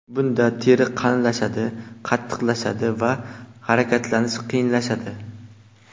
Bunda teri qalinlashadi, qattiqlashadi va harakatlanish qiyinlashadi.